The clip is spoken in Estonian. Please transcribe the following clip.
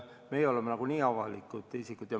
Meie oleme nagunii avalikud isikud.